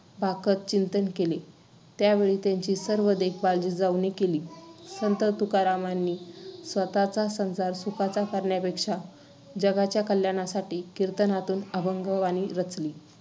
भाकत चिंतन केले, त्यावेळी त्यांची सर्व देखभाल जिजाऊने केली. संत तुकारामांनी स्वतःचा संसार सुखाचा करण्यापेक्षा जगाच्या कल्याणासाठी कीर्तनातून अभंगवाणी रचली,